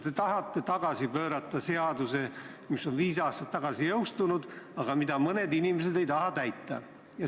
Te tahate tagasi pöörata seaduse, mis on viis aastat tagasi jõustunud, aga mida mõned inimesed ei taha täita.